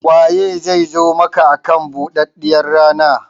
Waye zai zo maka akan buɗaɗɗiyar rana?